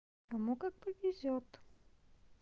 кому как повезёт